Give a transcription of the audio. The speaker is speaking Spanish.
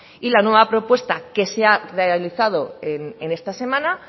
y la nueva propuesta que se ha realizado en esta semana